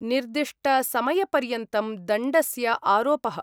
निर्दिष्टसमयपर्यन्तं दण्डस्य आरोपः।